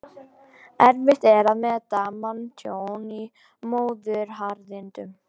Erfitt er að meta manntjón í móðuharðindum.